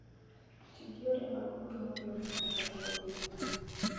Ti gi yore mag pur ma miyo gik moko dongo piyo